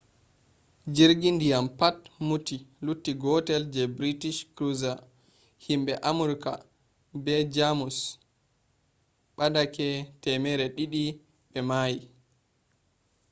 jirgi ndiyam pat muti lutti gootel je british cruiser. himbe amurka be germus badake 200 be mayi